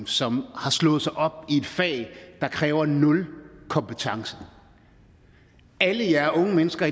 som har slået sig op i et fag der kræver nul kompetencer alle jer unge mennesker